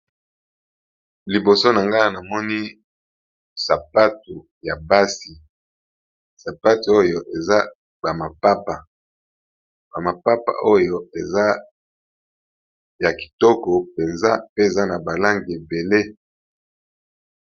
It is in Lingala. Liboso nangai Awa namoni sapatu ya basi eza ba mapapa eza ya kitoko penza pe eza na ba langi ebele.